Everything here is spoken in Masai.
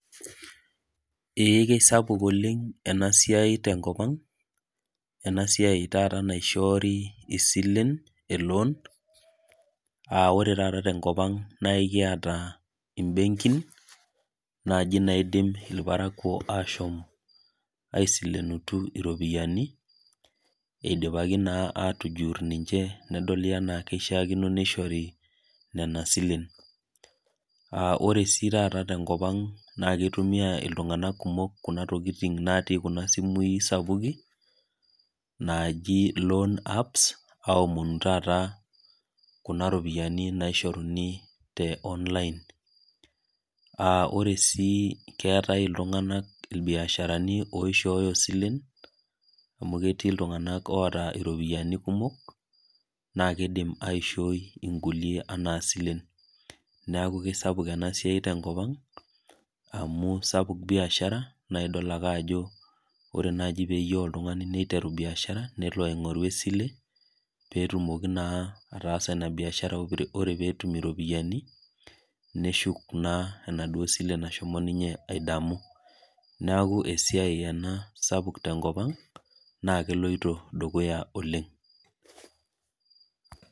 Ee keisapuk oleng' te enkop ang' , ena siai taata naishoori isilen e loan . Aa ore taata tenkop ang' nekiata imbenkin naaji naidim ilparakuo ashom aisilenutu iropiani, eidipaki naa atujur ninche nedoli anaa keishaakino neishori nena silen. Ore sii taata tenkop ang' naa keitumiailtung'anak kumok kuna tokitin natii kuna simui sapukin , naaji loans apps aomonu taata kuna ropiani naishoruni te online. Ore eatai iltung'anak ilbiasharani oishooyo isilen, amu ketii iltung'anak oata iropiani kumok, naa keidim aishooi inkulie anaa isilen. Neaku keisapuk ena siai tenkop ang' amu sapuk biashara naa idol ake ajo ore naji peyiou oltung'ani neiteru biashara, nelo aing'oru esile pee etumoki naa ina biashara, orepeetum iropiani, neshuk naa enaduo sile nashomo ninye aidamu. Neaku esiai ena sapuk ena te enkop ang', naa keloito dukuya oleng'.